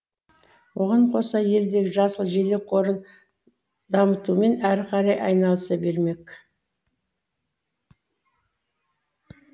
оған қоса елдегі жасыл желек қорын дамытумен әрі қарай айналыса бермек